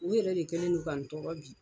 O yɛrɛ de kɛlen no ka n tɔɔrɔ bi.